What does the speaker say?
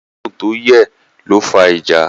Àdéhùn tó yẹ̀ ló fa ìjà.